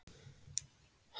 Hún mundi allt.